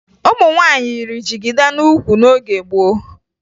Ụmụ nwaanyị yiri jigida n'ukwu n'oge gboo